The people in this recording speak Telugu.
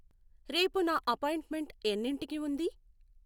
రేపు నా అపాయింట్మెంట్ ఎన్నింటికి ఉంది?